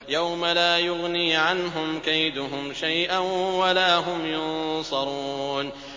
يَوْمَ لَا يُغْنِي عَنْهُمْ كَيْدُهُمْ شَيْئًا وَلَا هُمْ يُنصَرُونَ